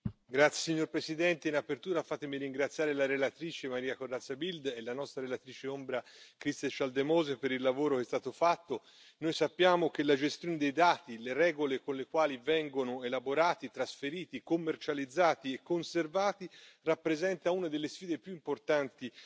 Signor Presidente, onorevoli colleghi, in apertura fatemi ringraziare la relatrice Maria Corazza Bildt e la nostra relatrice ombra Christel Schaldemose per il lavoro che è stato fatto. Noi sappiamo che la gestione dei dati, le regole con le quali vengono elaborati, trasferiti, commercializzati e conservati rappresenta una delle sfide più importanti